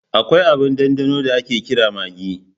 Akwai abin ɗanɗano da ake kira maggi.